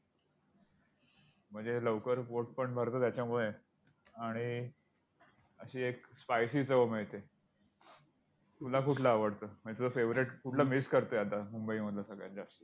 म्हणजे लवकर पोटपण भरतं त्याच्यामुळे आणि, अशी एक spicy चव मिळते. तुला कुठलं आवडतं? म्हणजे तुझं favourite कुठलं miss करतोय आता मुंबईमधलं सगळ्यात जास्त?